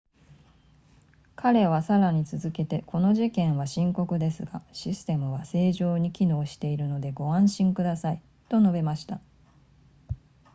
彼はさらに続けてこの事件は深刻ですがシステムは正常に機能しているのでご安心くださいと述べました